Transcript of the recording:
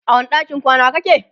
a wani ɗakin kwana kake?